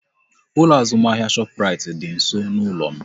Ụlọ azụmahịa Shoprite dị nsọ n'ụlọ m